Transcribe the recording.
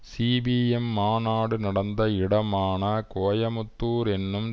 CPM மாநாடு நடந்த இடமான கோயம்புத்தூர் என்னும்